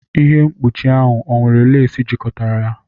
Ihe mkpuchi ahụ ọ nwere lace jikọtara ya?